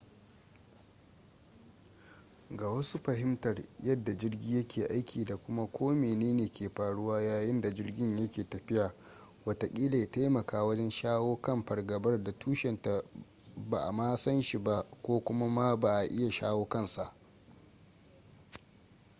ga wasu fahimtar yadda jirgi yake aiki da kuma ko mene ne ke faruwa yayin da jirgin yake tafiya watakila ya taimaka wajen shawo kan fargabar da tushenta ba a ma san shi ba ko kuma ma ba a iya shawo kansa